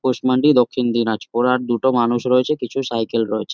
পুষমাণ্ডি দক্ষিণ দিনাজপুর আর দুটো মানুষ রয়েছে কিছু সাইকেল রয়েছে।